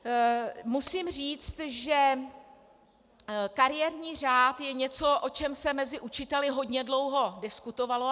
Musím říct, že kariérní řád je něco, o čem se mezi učiteli hodně dlouho diskutovalo.